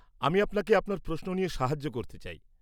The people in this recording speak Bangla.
আমি আপনাকে আপনার প্রশ্ন নিয়ে সাহায্য করতে চাই।